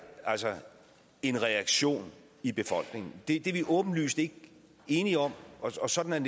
en reaktion i befolkningen det er vi åbenlyst ikke enige om og sådan er